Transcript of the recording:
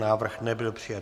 Návrh nebyl přijat.